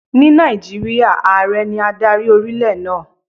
Ní Nàìjíríà, Ààrẹ ní adarí orílẹ̀ náà.